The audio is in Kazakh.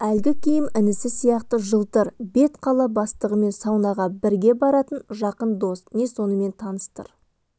әлгі киім інісі сияқты жылтыр бет қала бастығымен саунаға бірге баратын жақын дос не сонымен таныстыр